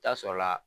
Taa sɔrɔla la